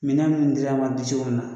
Minɛn minnu dir'a ma dicogo min na.